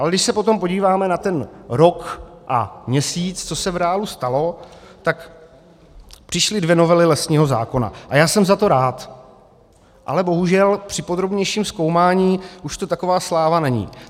Ale když se potom podíváme na ten rok a měsíc, co se v reálu stalo, tak přišly dvě novely lesního zákona, a já jsem za to rád, ale bohužel při podrobnějším zkoumání už to taková sláva není.